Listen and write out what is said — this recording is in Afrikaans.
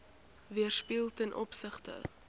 weerspieël ten opsigte